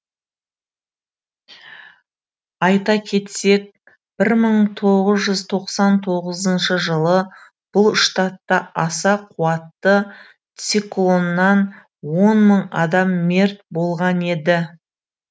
айта кетсек бір мың тоғыз жүз тоқсан тоғызыншы жылы бұл штатта аса қуатты циклоннан он мың адам мерт болған еді